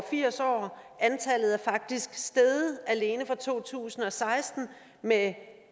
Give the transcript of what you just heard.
firs år antallet er faktisk steget alene fra to tusind og seksten med